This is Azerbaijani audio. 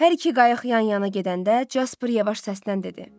Hər iki qayıq yan-yana gedəndə Jasper yavaş səslə dedi: